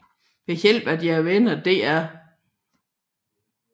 Ved hjælp af deres venner Dr